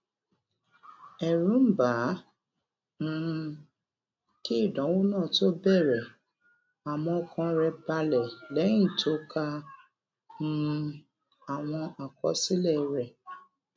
èrù ń bà á um kí ìdánwò náà tó bèrè àmó ọkàn rè balè léyìn tó ka um ka um àwọn àkọsílè rè